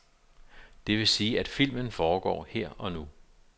Det vil sige, at filmen foregår her og nu.